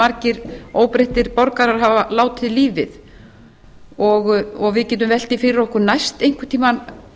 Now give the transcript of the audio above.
margir óbreyttir borgarar hafa látið lífið við getum velt því fyrir okkur næst einhvern tímann